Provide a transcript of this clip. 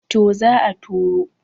to za a turo